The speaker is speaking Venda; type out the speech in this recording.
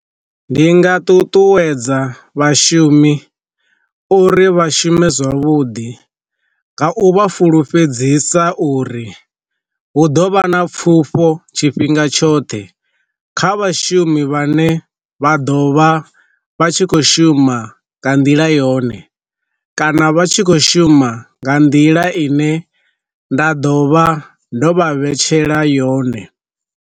Ndi nga ṱuṱuwedza vhashumi uri vha shume zwavhuḓi nga u vha fulufhedzisa uri, hu ḓovha na pfufho tshifhinga tshoṱhe kha vhashumi vhane vha ḓo vha vha tshi khou shuma nga nḓila yone kana vha tshi khou shuma nga nḓila ine nda ḓo vha ndo vha vhetshela yone.